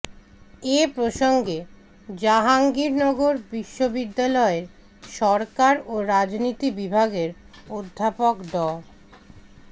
এ প্রসঙ্গে জাহাঙ্গীরনগর বিশ্ববিদ্যালয়ের সরকার ও রাজনীতি বিভাগের অধ্যাপক ড